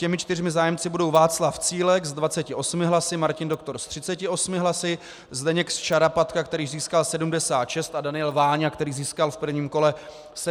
Těmi čtyřmi zájemci budou Václav Cílek s 28 hlasy, Martin Doktor s 38 hlasy, Zdeněk Šarapatka, který získal 76, a Daniel Váňa, který získal v prvním kole 75 hlasů.